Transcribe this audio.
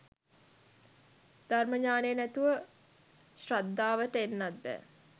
ධර්ම ඤාණය නැතුව ශ්‍රද්ධාවට එන්නත් බෑ